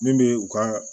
Min bɛ u ka